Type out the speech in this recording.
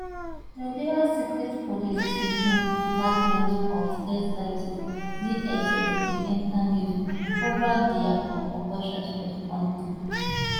nigeria secret police di um department of state services dss bin enta news um over dia operations for di kontri